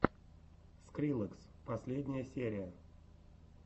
скриллекс последняя серия